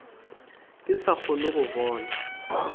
ke sa kgone go bona